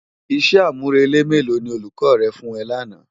Isè ámúrélé mélò ni ólúkò yèn fún è làná?